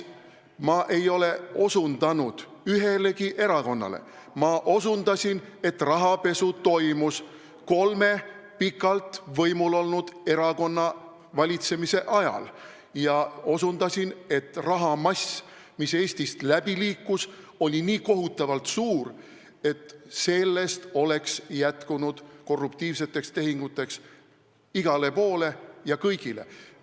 Ma ei ole osutanud ühelegi erakonnale, ma ütlesin, et rahapesu toimus kolme pikalt võimul olnud erakonna valitsemise ajal, ja osutasin sellele, et rahamass, mis Eestist läbi liikus, oli nii kohutavalt suur, et sellest oleks korruptiivseteks tehinguteks jätkunud igale poole ja kõigile.